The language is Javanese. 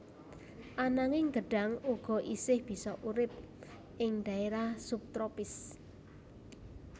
Ananging gedhang uga isih bisa urip ing dhaérah sub tropis